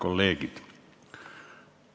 Kolleegid!